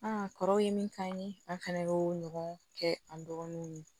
kɔrɔw ye min k'an ye an fɛnɛ y'o ɲɔgɔn kɛ an dɔgɔnunw ye